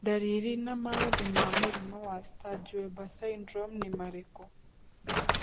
Ndariri na maũthĩ ma mũrimũ wa Sturge Weber syndrome nĩ marikũ?